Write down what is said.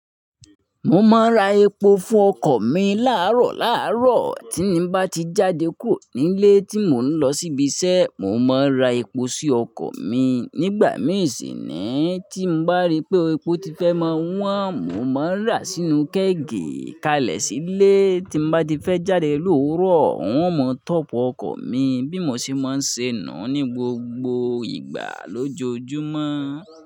Mo máa ń ra epo fún ọkọ̀ mi láàárọ̀ láàárọ̀. Tí mo bá ti jáde kúrò nílé tí mo ń lọ síbi iṣẹ́, mo máa ń ra epo sí ọkọ̀ mi. Nígbà mìíràn sì ni tí mo bá rí pé epo ti fẹ́ máa wọ́n, mo máa ń rà á sínú kéèkì kalẹ̀ sílé, tí mo bá ti fẹ́ jáde lóru ọ̀n, wọn máa top ọkọ̀ mi bí mo ṣe máa ń ṣe nu ní gbogbo ìgbà lójoojúmọ́.